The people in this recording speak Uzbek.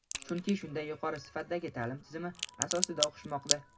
chunki shunday yuqori sifatdagi ta’lim tizimi asosida o‘qishmoqda.